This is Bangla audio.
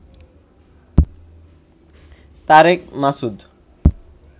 তারেক মাসুদ